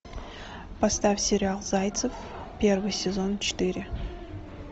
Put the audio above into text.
поставь сериал зайцев первый сезон четыре